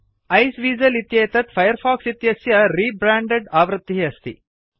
Iceweasel इत्येतत् Firefox इतस्य re branded आवृत्तिः अस्ति